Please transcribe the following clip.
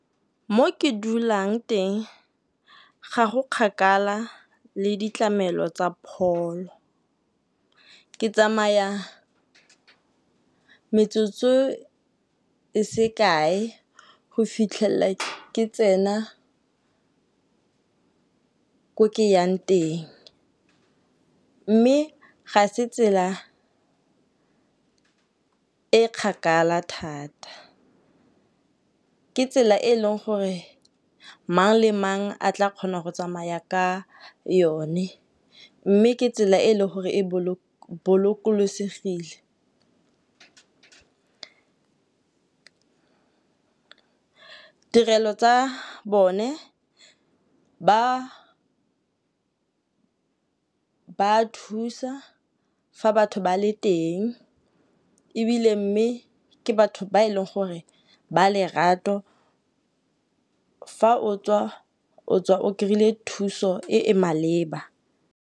Mo ke dulang teng ga go kgakala le ditlamelo tsa pholo. Ke tsamaya metsotso e se kae go fitlhela ke tsena ko ke yang teng, mme ga se tsela e kgakala thata. Ke tsela e e leng gore mang le mang a tla kgona go tsamaya ka yone mme ke tsela e e leng gore e bolokosegile. Tirelo tsa bone ba thusa fa batho ba le teng ebile mme ke batho ba e leng gore ba lerato fa o tswa, o tswa o kry-ile thuso e e maleba.